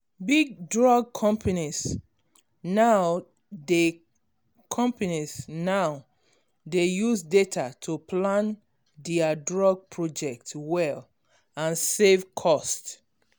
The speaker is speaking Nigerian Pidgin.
big drug companies now dey companies now dey use data to plan dia drug project well and save cost